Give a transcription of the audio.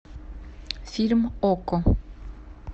фильм окко